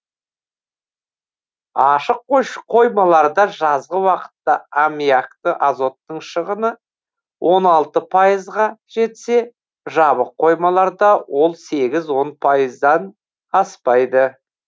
ашық қоймаларда жазғы уақытта аммиакты азоттың шығыны он алты пайызға жетсе жабық қоймаларда ол сегіз он пайыздан аспайды